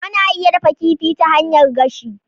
Ana iya dafa kifi ta hanyar gashi.